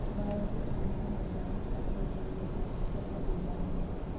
باورچی خانے سے متعلق کمرے کے لئے فرنیچر کا ڈیزائن